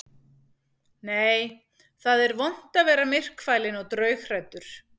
Nei, það er vont að vera myrkfælinn og draughræddur.